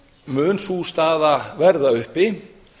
mun sú staða verða uppi